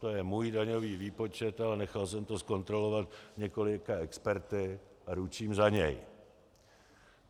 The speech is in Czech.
To je můj daňový výpočet, ale nechal jsem to zkontrolovat několika experty a ručím za něj.